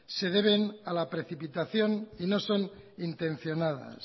se deben a la precipitación y no son intencionadas